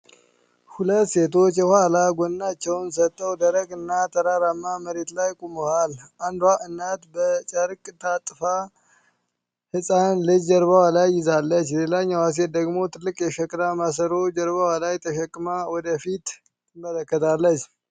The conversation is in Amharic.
ሁለት ሴቶች የኋላ ጎናቸውን ሰጥተው፣ ደረቅና ተራራማ መሬት ላይ ቆመዋል። አንዷ እናት በጨርቅ ታጥፋ ሕፃን ልጅ ጀርባዋ ላይ ይዛለች፤ ሌላኛዋ ሴት ደግሞ ትልቅ የሸክላ ማሰሮ ጀርባዋ ላይ ተሸክማ ወደ ፊት ትመለከታለች።